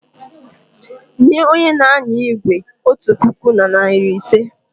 Nye onye n'anya igwe otu puku na narị ise!